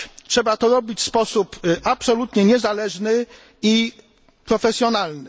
Trzeba to robić w sposób absolutnie niezależny i profesjonalny.